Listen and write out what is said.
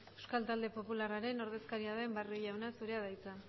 euskal talde popularraren ordezkaria den barrio jauna zurea da hitza